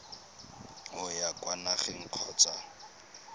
o ya kwa nageng kgotsa